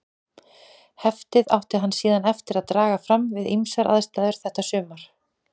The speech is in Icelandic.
Heftið átti hann síðan eftir að draga fram við ýmsar aðstæður þetta sumar.